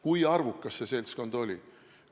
Kui arvukas see seltskond oli?